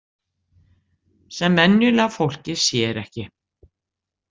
Sem venjulega fólkið sér ekki.